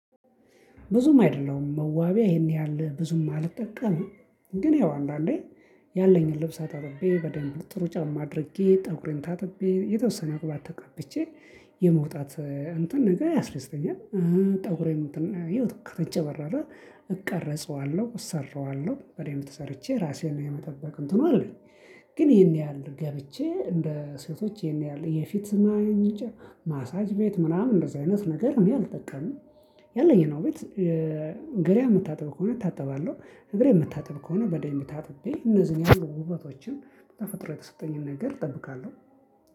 ብዙም አይደለም መዋቢያ ይሄን ያህል ብዙም አልጠቀምም ግን ያው አንዳንዴ ያለኝን ልብሳ አጣጥቤ በደንብ ጥሩ ጫማ አድርጌ ፀጉሬን ታጥቤ የተወሰነ ቅባት ተቀብቼ የመውጣት እንትን ነገር ያስረስተኛል ፀጉሬን እንትን እዩት ከተንጨባረረ እቀረጸዋለሁ፣ እሰራዋለሁ፣ እኔም ተሰርቼ እራሴን የመጠበቅ እንትኑ አለኝ። ግን ይሄን ያህል ገብቼ እንደ ሴቶች የፊት ማንጫ ማሳጅ ቤት ምናምን እንደዚህ አይነት ነገር እኔ አልጠቀምም። ያለኝን ውበት። ገላዬን የምታጠብ ከሆነ እታጠባለው እግሬን የምታጠብ ከሆነ በደንብ ታጥቤ እነዚ ያሉኝን ውበቶችን በተፈጥሮ የተሰጠኝን ነገር እጠብቃለሁ።